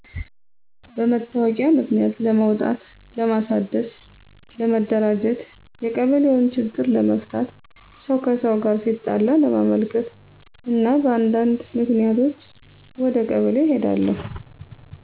በመታወቂያ ምክንያት ለማውጣት ለማሣደስ፣ ለመደራጀት፣ የቀበሌውን ችግር ለመፍታት፣ ሰው ከሰው ጋር ሲጣላ ለማመልከት እና በአንዳነድ ምክንያቶች ወደ ቀበሌ ይሔዳሉ።